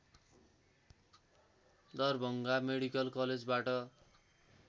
Darbhanga medical कलेजबाट